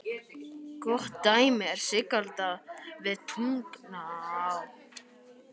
Gott dæmi er Sigalda við Tungnaá.